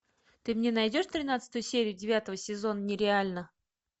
ты мне найдешь тринадцатую серию девятого сезона нереально